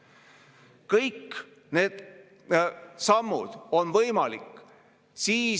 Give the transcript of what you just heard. See ei ole debatt, kui me rebime särki ja ütleme, et miljard, ei, kaks on veel parem, kahekordselt, ei, kolmekordselt, ei vähemalt 5%.